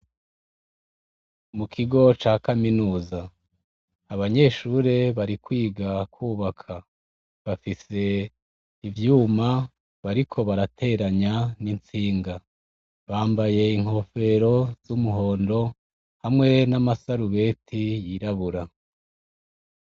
Mu kigo ca kaminuza abanyeshure bari kwiga kubaka bafise ivyuma bariko barateranya n'intsinga, bambaye inkofero z'umuhondo hamwe n'amasarubeti yirabura.